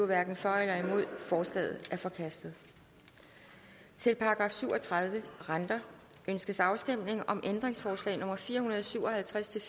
hverken for eller imod forslaget er forkastet til § syv og tredive renter ønskes afstemning om ændringsforslag nummer fire hundrede og syv og halvtreds til